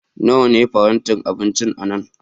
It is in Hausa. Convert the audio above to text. Nawa ne farantin abinci a nan?